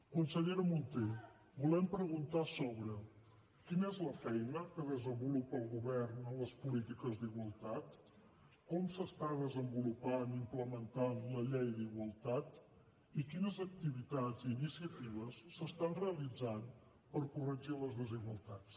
consellera munté volem preguntar sobre quina és la feina que desenvolupa el govern en les polítiques d’igualtat com s’està desenvolupant i implementant la llei d’igualtat i quines activitats i iniciatives s’estan realitzant per corregir les desigualtats